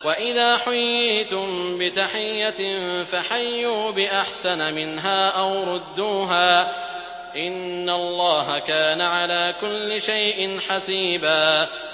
وَإِذَا حُيِّيتُم بِتَحِيَّةٍ فَحَيُّوا بِأَحْسَنَ مِنْهَا أَوْ رُدُّوهَا ۗ إِنَّ اللَّهَ كَانَ عَلَىٰ كُلِّ شَيْءٍ حَسِيبًا